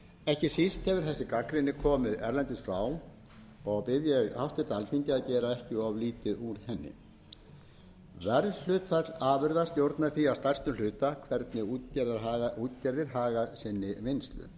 ekki síst hefur þessi gagnrýni komið erlendis frá og bið ég háttvirtu alþingi að gera ekki of lítið úr henni verðhlutföll afurða stjórna því að stærstum hluta hvernig útgerðir haga sinni vinnslu það